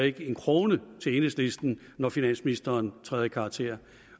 ikke bliver en krone til enhedslisten når finansministeren træder i karakter